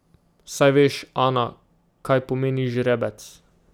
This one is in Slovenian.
Saj veš, Ana, kaj pomeni žrebec.